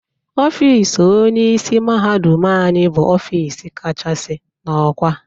Ofiisi Onyeisi mahadum anyị bụ Ofiisi kachasị n'ọkwá